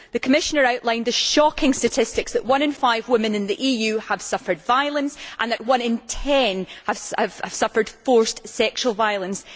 The Commissioner outlined the shocking statistics that one in five women in the EU had suffered violence, and that one in ten had suffered forced sexual violence.